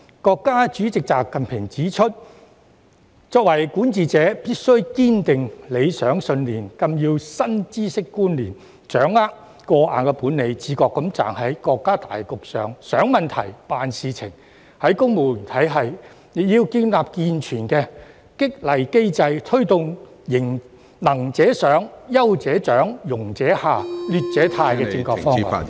國家主席習近平指出，作為管治者，必須堅定理想信念、更新知識觀念、掌握過硬本領；自覺站在國家大局上想問題、辦事情；在公務員體系方面，亦要建立健全的激勵機制，推動"能者上、優者獎、庸者下、劣者汰"......